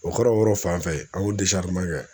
O kɛra o yɔrɔ fan fɛ an y'o kɛ